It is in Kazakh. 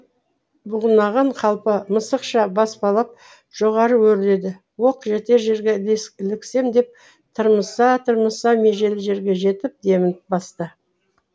бұғынаған қалпы мысықша баспалап жоғары өрледі оқ жетер жерге іліксем деп тырмыса тырмыса межелі жерге жетіп демін басты